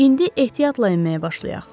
İndi ehtiyatla enməyə başlayaq.